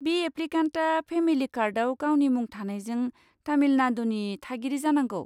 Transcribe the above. बे एप्लिकेन्टआ फेमिलि कार्डआव गावनि मुं थानायजों तामिलनाडुनि थागिरि जानांगौ।